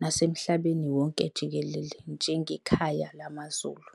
nasemhlabeni wonke jikelele njenge khaya lamaZulu.